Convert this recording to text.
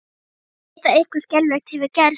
Veit að eitthvað skelfilegt hefur gerst.